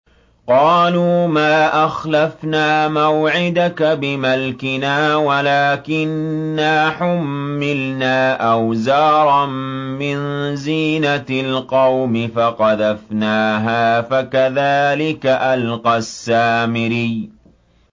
قَالُوا مَا أَخْلَفْنَا مَوْعِدَكَ بِمَلْكِنَا وَلَٰكِنَّا حُمِّلْنَا أَوْزَارًا مِّن زِينَةِ الْقَوْمِ فَقَذَفْنَاهَا فَكَذَٰلِكَ أَلْقَى السَّامِرِيُّ